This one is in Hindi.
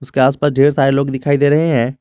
के आस पास ढेर सारे लोग दिखाई दे रहे हैं।